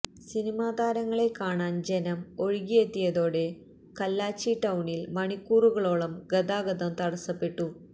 cinema താരങ്ങളെ കാണാന് ജനം ഒഴുകിയെത്തിയതോടെ കല്ലാച്ചി ടൌണില് മണിക്കൂറുകളോളം ഗതാഗതം തടസ്സപ്പെട്ടു